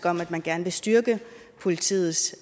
om at man gerne vil styrke politiets